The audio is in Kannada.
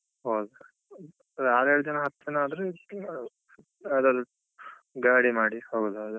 Okay ಅಂದ್ರೆ ಆರ್ ಏಳ್ ಜನ ಹತ್ರನೇ ಆದ್ರೆ ಇದ್ರೆ ಯಾರಾದ್ರೂ ಗಾಡಿ ಮಾಡಿ ಹೋಗೂದಾದ್ರೆ.